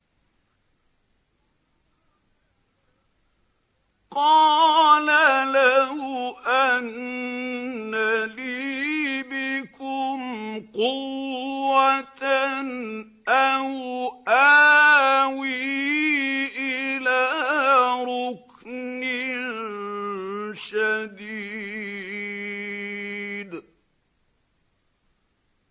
قَالَ لَوْ أَنَّ لِي بِكُمْ قُوَّةً أَوْ آوِي إِلَىٰ رُكْنٍ شَدِيدٍ